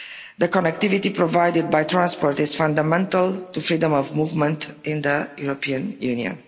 The connectivity provided by transport is fundamental to freedom of movement in the European Union.